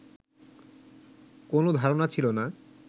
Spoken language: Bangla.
কোন ধারণা ছিল না